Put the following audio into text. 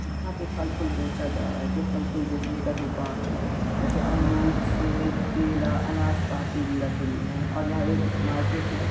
यहाँ पे फल फुल बेचा जा रहा है जो फल फुल बेचने का दुकान है जैसे अमरूद सेब केला अनाशपाती भी रखे हुए है और यहाँ एक मार्केट है ।